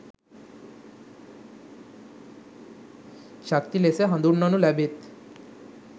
ශක්ති ලෙස හදුන්වනු ලැබෙත්.